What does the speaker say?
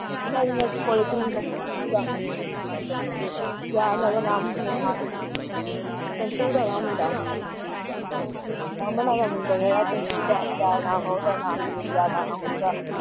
ਦਾ ਕਿਆ ਥਾ ਉਹਦਾ ਨਾਮ ਸਰਸੂ ਦਾ ਸੀ ਮੁੰਡਾ ਅਮਨਾਂ ਦਾ ਮੁੰਡਾ ਨੀ ਯਾਰ, ਕਿਆ ਨਾਮ ਉਹਦਾ ਹੁਣ ਨਾਮ ਨੀ ਮੈਨੂੰ ਹੁਣ ਯਾਦ ਆਉਂਦਾ ਉਹਦਾ